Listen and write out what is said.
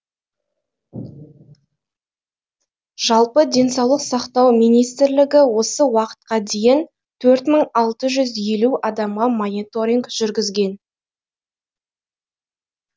жалпы денсаулық сақтау министрлігі осы уақытқа дейін төрт мың алты жүз елу адамға мониторинг жүргізген